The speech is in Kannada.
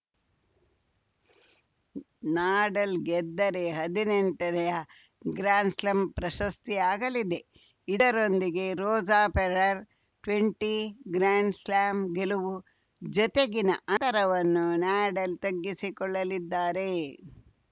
ನಾಡಲ್‌ ಗೆದ್ದರೆ ಹದಿನೆಂಟನೇಯಾ ಗ್ರ್ಯಾಂಡ್‌ಸ್ಲಾಂ ಪ್ರಶಸ್ತಿಯಾಗಲಿದೆ ಇದರೊಂದಿಗೆ ರೋಜ ಫೆಡರರ್‌ ಟ್ವೆಂಟಿ ಗ್ರ್ಯಾಂಡ್‌ಸ್ಲಾಂ ಗೆಲವು ಜತೆಗಿನ ಅಂತರವನ್ನು ನಾಡಲ್‌ ತಗ್ಗಿಸಿಕೊಳ್ಳಲಿದ್ದಾರೆ